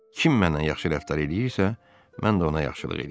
Kim mənlə yaxşı rəftar eləyirsə, mən də ona yaxşılıq eləyirəm.